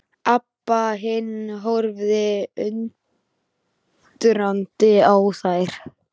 Abba hin horfði undrandi á þær.